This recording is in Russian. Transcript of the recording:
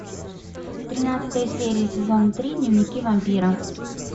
тринадцатая серия сезон три дневники вампира